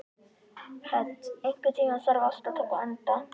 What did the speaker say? Hödd, einhvern tímann þarf allt að taka enda.